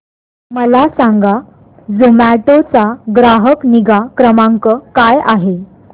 मला सांगा झोमॅटो चा ग्राहक निगा क्रमांक काय आहे